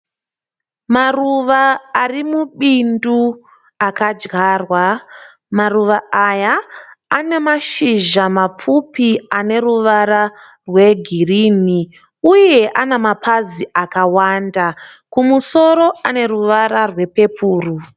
Maruva ari mubindu akadyarwa. Maruva aya ane mashizha mapfupi aneruvara rwegirini uye ane mapazi akawanda. Kumusoro aneruvara rwepepuro.